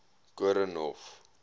koornhof